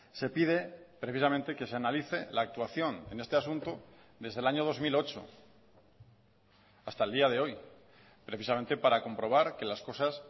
se pide precisamente que se analice la actuación en este asunto desde el año dos mil ocho hasta el día de hoy precisamente para comprobar que las cosas